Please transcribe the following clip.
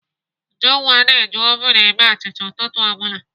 Ujunwa na-eji ovun eme achịcha ụtụtụ ọ bụla.